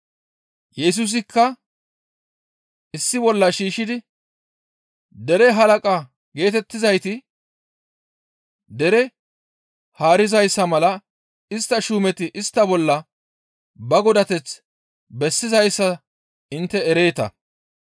Yesusikka istta issi bolla shiishshidi, «Dere halaqa geetettizayti dere haarizayssa mala istta shuumeti istta bolla ba godateth bessizayssa intte ereeta.